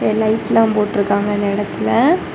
லைட்ல்லாம் போட்டு இருக்காங்க இந்த இடத்துல.